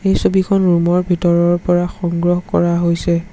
এই ছবিখন ৰুম ৰ ভিতৰৰ পৰা সংগ্ৰহ কৰা হৈছে।